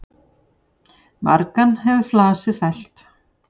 Margan hefur flasið fellt.